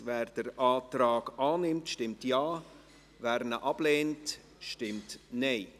Wer den Antrag annimmt, stimmt Ja, wer diesen ablehnt, stimmt Nein.